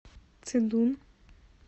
цидун